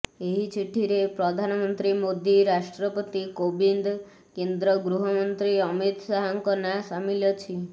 ଏହି ଚିଠିରେ ପ୍ରଧାନମନ୍ତ୍ରୀ ମୋଦୀ ରାଷ୍ଟ୍ରପତି କୋବିନ୍ଦ କେନ୍ଦ୍ର ଗୃହମନ୍ତ୍ରୀ ଅମିତ ଶାହଙ୍କ ନାଁ ସାମିଲ ଅଛି